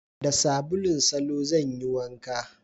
Da sabulun salo zan yi wanka